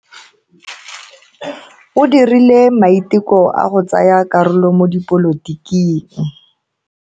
O dirile maiteko a go tsaya karolo mo dipolotiking.